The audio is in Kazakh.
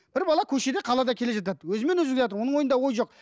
бір бала көшеде қалада келе жатады өзімен өзі келе жатыр оның ойында ойы жоқ